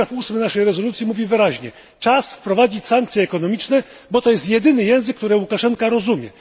Ustęp ósmy naszej rezolucji mówi wyraźnie czas wprowadzić sankcje ekonomiczne, bo to jest jedyny język, który Łukaszenka rozumie.